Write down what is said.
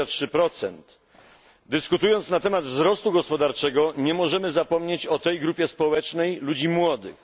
23. Dyskutując na temat wzrostu gospodarczego, nie możemy zapomnieć o tej grupie społecznej ludzi młodych.